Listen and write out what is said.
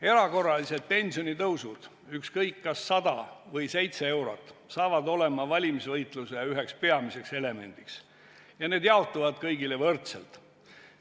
Erakorralised pensionitõusud, ükskõik kas 100 või 7 eurot, saavad olema valimisvõitluse üheks peamiseks elemendiks ja need jaotuvad kõigile võrdselt.